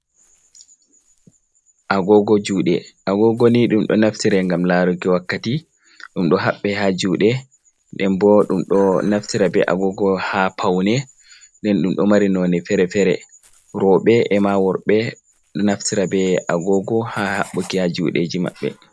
Agogo Juɗe, Agogoni ɗum ɗo Naftira ngam Laruki Wakkati, ɗum ɗo Habɓe ha Juɗe Ndenbo ɗum ɗo Naftira be Agogo ha Paune, nden ɗum ɗo Mari none Fere-Fere, Roɓe Ema Worɓe ɗo Naftira be Agogo ha Habɓuki ha Juɗeji Maɓɓe.